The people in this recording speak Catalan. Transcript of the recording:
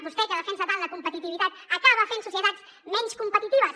vostè que defensa tant la competitivitat acaba fent societats menys competitives